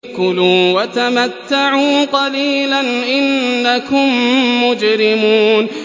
كُلُوا وَتَمَتَّعُوا قَلِيلًا إِنَّكُم مُّجْرِمُونَ